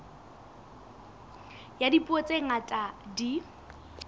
ya dipuo tse ngata di